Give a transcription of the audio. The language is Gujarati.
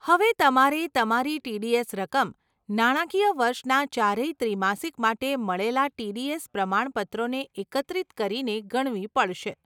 હવે તમારે તમારી ટીડીએસ રકમ નાણાકીય વર્ષના ચારેય ત્રિમાસિક માટે મળેલાં ટીડીએસ પ્રમાણપત્રોને એકત્રિત કરીને ગણવી પડશે.